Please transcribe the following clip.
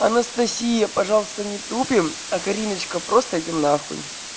анастасия пожалуйста не тупим а кариночка просто идём нахуй